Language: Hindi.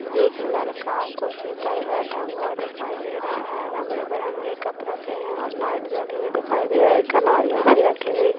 एक लड़का कुर्सी पर बैठा हुआ दिखाई दे रहा है रंग बिरंगे कप रखे है और लाइट जली हुई दिखाई दे रही है